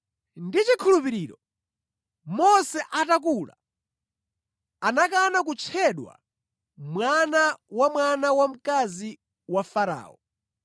Ndi chikhulupiriro Mose atakula, anakana kutchedwa mwana wa mwana wamkazi wa Farao.